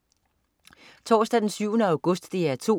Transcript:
Torsdag den 7. august - DR 2: